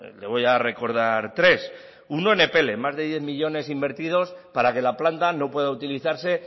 le voy a recordar tres uno en epele más de diez millónes invertidos para que la planta no pueda utilizarse